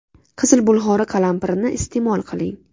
Qizil bulg‘ori qalampirini iste’mol qiling.